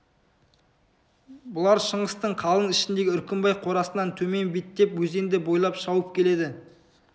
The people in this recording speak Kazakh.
бұлар шыңғыстың қалың ішіндегі үркімбай қорасынан төмен беттеп өзенді бойлап шауып келеді